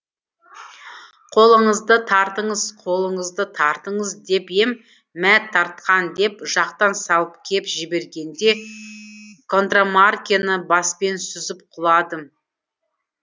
қолыңызды тартыңыз қолыңызды тартыңыз деп ем мә тартқан деп жақтан салып кеп жібергенде контрамаркіні баспен сүзіп құладым